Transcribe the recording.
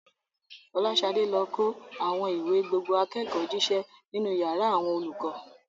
Folashade lọ kó àwọn ìwé gbogbo akẹ́kọ̀ọ́ jíṣẹ́ nínú yàrá àwọn olùkọ́.